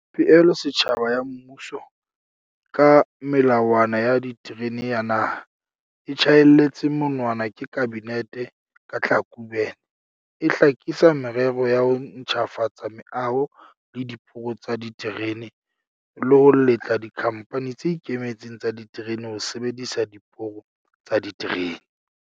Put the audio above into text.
Pehelo setjhaba ya mmuso ka Melawana ya Diterene ya Naha, e tjhaelletsweng monwana ke Kabinete ka Tlhakubele, e hlakisa merero ya ho ntjhafatsa meaho le diporo tsa diterene le ho letla dikhamphani tse ikemetseng tsa diterene ho sebedisa diporo tsa diterene.